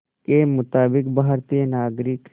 के मुताबिक़ भारतीय नागरिक